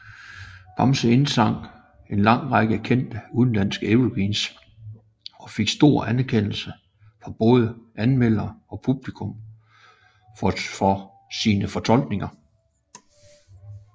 Bamse indsang en lang række kendte udenlandske evergreens og fik stor anerkendelse fra både anmeldere og publikum for sine fortolkninger